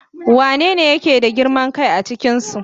Wanene yake da girman kai a cikinsu?